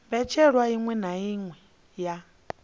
mbetshelwa iṅwe na iṅwe ya